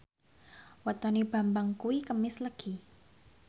wetone Bambang kuwi Kemis Legi